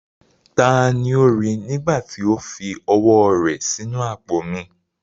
Taani ó rí i, nígbà tí ó fi ọwọ́ rẹ̀ sí inú àpò mi?